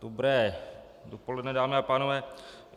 Dobré dopoledne, dámy a pánové.